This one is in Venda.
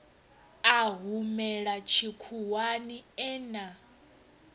a humela tshikhuwani e na